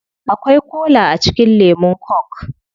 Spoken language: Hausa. Akwai kola a cikin lemun coke